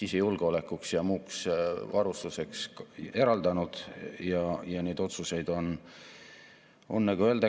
Innovatsioonipööre kätkeb endas üleminekut uuele targale ja teadusmahukale majandusmudelile, mille väljundiks on innovaatilised ja keskkonnasõbralikud tooted‑teenused, mida loovad tipptasemel juhid ja töötajad.